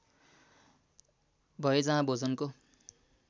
भए जहाँ भोजनको